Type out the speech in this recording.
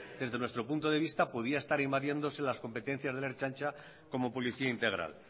desde nuestro punto de vista podía estar invadiéndose las competencias de la ertzaintza como policía integral